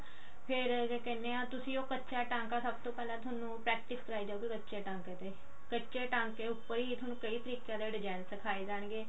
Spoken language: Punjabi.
ਫ਼ੇਰ ਕੀ ਕਹਿਨੇ ਹਾਂ ਤੁਸੀਂ ਉਹ ਕੱਚਾ ਟਾਂਕਾ ਸਭ ਤੋਂ ਪਹਿਲਾਂ ਥੋਨੂੰ practice ਕਰਾਈ ਜਾਉਗੀ ਕੱਚੇ ਟਾਂਕੇ ਤੇ ਕੱਚੇ ਟਾਂਕੇ ਉੱਪਰ ਹੀ ਥੋਨੂੰ ਕਈ ਤਰੀਕੇ design ਸਿਖਾਏ ਜਾਣਗੇ